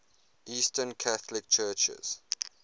eastern catholic churches